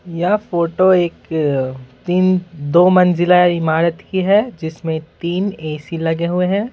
यह फोटो एक तीन दो मंजिला इमारत की है जिसमें तीन ए-सी लगे हुए हैं।